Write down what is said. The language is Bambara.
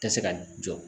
Ka se ka jɔ